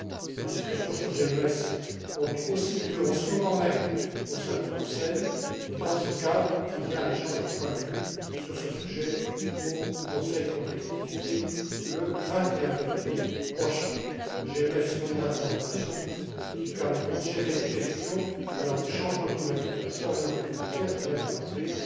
Des discussions sur GMES ont aussi lieu en ce moment même au sein du Conseil et dans ce cadre, il y a un échange de points de vue sur ce sujet au Conseil compétitivité le 21 février prochain. Le GMES fournira des informations qui permettront de gérer des questions allant du changement climatique à la surveillance des frontières, je viens de le rappeler.